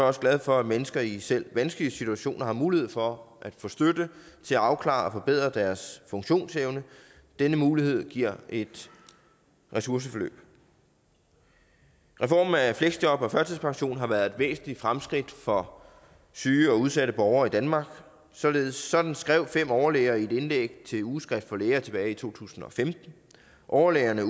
også glad for at mennesker i selv vanskelige situationer har mulighed for at få støtte til at afklare og forbedre deres funktionsevne denne mulighed giver et ressourceforløb reformen af fleksjob og førtidspension har været et væsentligt fremskridt for syge og udsatte borgere i danmark sådan sådan skrev fem overlæger i et indlæg til ugeskrift for læger tilbage i to tusind og femten overlægerne